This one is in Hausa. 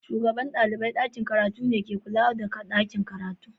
Shugaban dalibain dakin karatu ne kan kulawa da dakin karatun.